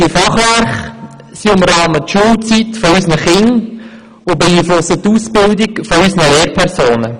Sie umrahmen die Schulzeit unserer Kinder und beeinflussen die Ausbildung unserer Lehrpersonen.